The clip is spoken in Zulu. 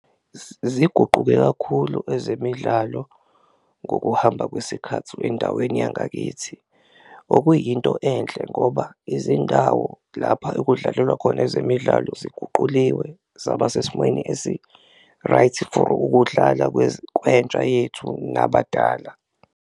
Ziguquke kakhulu ezemidlalo ngokuhamba kwesikhathi endaweni yangakithi okuyinto enhle ngoba izindawo lapha ekudlalelwa khona ezemidlalo, ziguquliwe zaba sesimweni esi-right for ukudlala kwentsha yethu nabadala.